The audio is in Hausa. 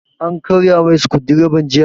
An karya masa sukudireban jiya